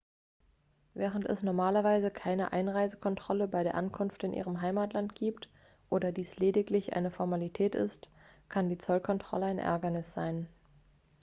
während es normalerweise keine einreisekontrolle bei der ankunft in ihrem heimatland gibt oder dies lediglich eine formalität ist kann die zollkontrolle ein ärgernis sein